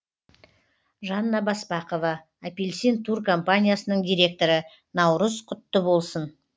жанна баспақова апельсин тур компаниясының директоры наурыз құтты болсын